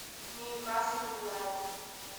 нью касл юнайтед